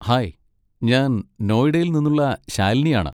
Hi, ഞാൻ നോയിഡയിൽ നിന്നുള്ള ശാലിനിയാണ്.